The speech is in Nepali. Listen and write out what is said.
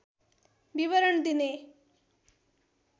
विवरण दिने